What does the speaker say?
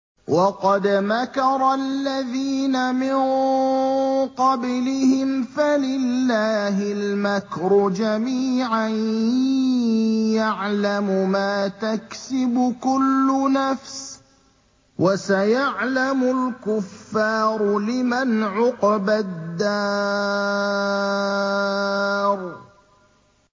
وَقَدْ مَكَرَ الَّذِينَ مِن قَبْلِهِمْ فَلِلَّهِ الْمَكْرُ جَمِيعًا ۖ يَعْلَمُ مَا تَكْسِبُ كُلُّ نَفْسٍ ۗ وَسَيَعْلَمُ الْكُفَّارُ لِمَنْ عُقْبَى الدَّارِ